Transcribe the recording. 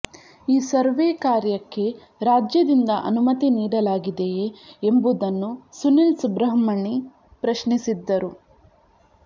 ಈ ಸರ್ವೇ ಕಾರ್ಯಕ್ಕೆ ರಾಜ್ಯದಿಂದ ಅನುಮತಿ ನೀಡಲಾಗಿದೆಯೇ ಎಂಬುದನ್ನು ಸುನಿಲ್ ಸುಬ್ರಹ್ಮಣಿ ಪ್ರಶ್ನಿಸಿದ್ದರು